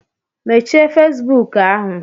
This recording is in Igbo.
Mechie Facebook ahụ!